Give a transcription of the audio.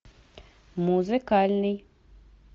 музыкальный